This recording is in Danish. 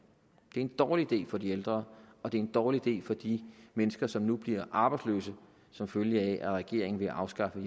er en dårlig idé for de ældre og det er en dårlig idé for de mennesker som nu bliver arbejdsløse som følge af at regeringen vil afskaffe